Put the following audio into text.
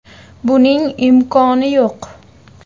Buning imkoni yo‘q.